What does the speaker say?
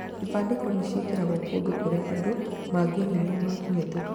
Ibandĩko nĩcĩekĩragwo kũndũ kũrĩa andũ mangĩonire makĩhĩtũka